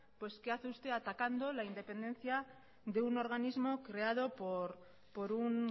qué hace usted atacando la independencia de un organismo creado por un